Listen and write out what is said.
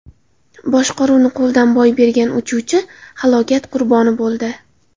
Boshqaruvni qo‘ldan boy bergan uchuvchi halokat qurboni bo‘ldi.